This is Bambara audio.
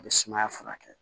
A bɛ sumaya furakɛ